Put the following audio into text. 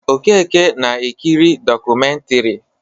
Okeke na-ekiri dọkụmentiri.